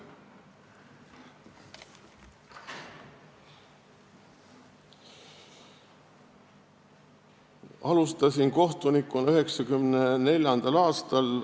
Ma alustasin kohtunikuna 1994. aastal.